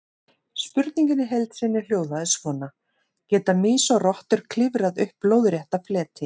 Spurningin í heild sinni hljóðaði svona: Geta mýs og rottur klifrað upp lóðrétta fleti?